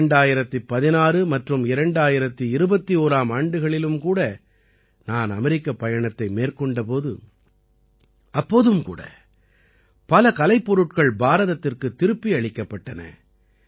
2016 மற்றும் 2021ஆம் ஆண்டுகளிலும் கூட நான் அமெரிக்கப் பயணத்தை மேற்கொண்ட போது அப்போதும் கூட பல கலைப்பொருட்கள் பாரதத்திற்குத் திருப்பியளிக்கப்பட்டன